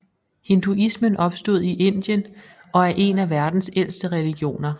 Hinduismen opstod i Indien og er en af verdens ældste religioner